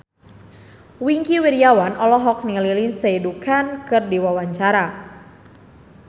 Wingky Wiryawan olohok ningali Lindsay Ducan keur diwawancara